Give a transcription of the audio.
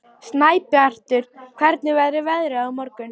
Snæbjartur, hvernig verður veðrið á morgun?